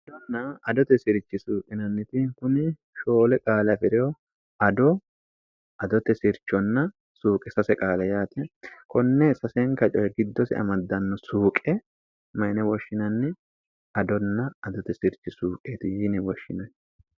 adonna adote sirchi suuqinanniti kuni shoole qaala fi'reyo ado adote sirchonna suuqe sase qaala yaate konne sasenka coye giddosi amaddanno suuqe mayine woshshinanni adonna adote sirchi suuqeeti yiini woshshinanni